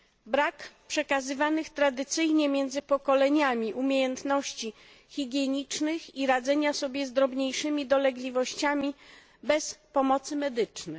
Brak przekazywanych tradycyjnie między pokoleniami umiejętności higienicznych i radzenia sobie z drobniejszymi dolegliwościami bez pomocy medycznej.